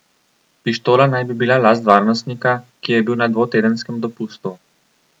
Pištola naj bi bila last varnostnika, ki je bil na dvotedenskem dopustu.